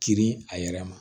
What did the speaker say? Kirin a yɛrɛ ma